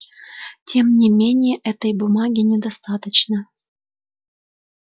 тем не менее этой бумаги недостаточно